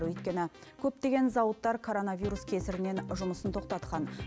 өйткені көптеген зауыттар коронавирус кесірінен жұмысын тоқтатқан